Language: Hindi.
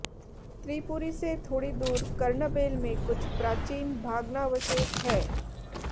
त्रिपुरी से थोड़ी दूर कर्णबेल में कुछ प्राचीन भाग्नावशेथ है